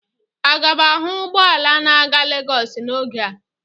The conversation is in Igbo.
Aga m ahụ ụgbọ ala na-aga Lagos n'oge a?